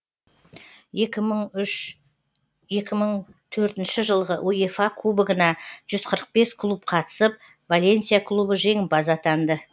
екі мың үш екі мың төртінші жылғы уефа кубогына жүз қырық бес клуб қатысып валенсия клубы жеңімпаз атанды